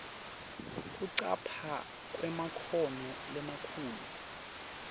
kucapha kwemakhono lamakhulu